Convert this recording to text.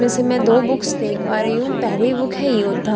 वैसे मैं दो बुक्स देख पा रही हूं पहली बुक है योद्धा--